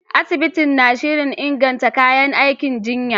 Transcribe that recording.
Asibitin na shirin inganta kayan aikin jinya.